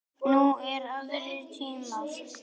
Nú eru aðrir tímar.